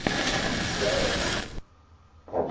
gcis